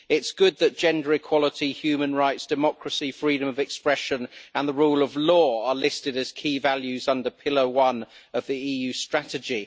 it is good that gender equality, human rights, democracy, freedom of expression and the rule of law are listed as key values under pillar one of the EU strategy.